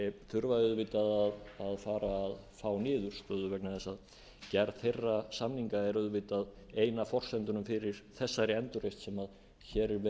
þurfa auðvitað að fara að fá niðurstöðu vegna þess að gerð þeirra samninga er auðvitað ein af forsendunum fyrir þessari endurreisn sem hér er verið að